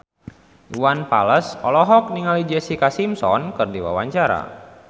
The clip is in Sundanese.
Iwan Fals olohok ningali Jessica Simpson keur diwawancara